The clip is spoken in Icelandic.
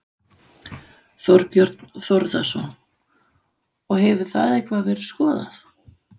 Þorbjörn Þórðarson: Og hefur það eitthvað verið skoðað?